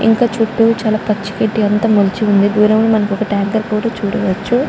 ఇంకా చుట్టూ చాలా పచ్చి గడ్డి అంతా మొలిచి ఉంది. దూరంగా మనం ఒక టాంకర్ కూడా చూడవచ్చు.